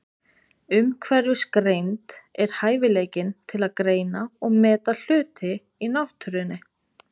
Umhverfisgreind er hæfileikinn til að greina og meta hluti í náttúrunni.